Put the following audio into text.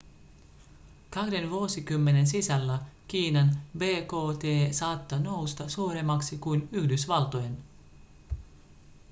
kahden vuosikymmenen sisällä kiinan bkt saattaa nousta suuremmaksi kuin yhdysvaltojen